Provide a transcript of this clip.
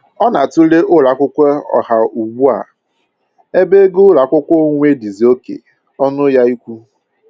Ọ na-atụle ụlọ akwụkwọ ọha ugbu a ebe ego ụlọ akwụkwọ onwe dịzị oké ọṅụ ya ịkwụ